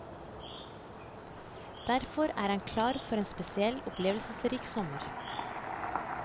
Derfor er han klar for en spesielt opplevelsesrik sommer.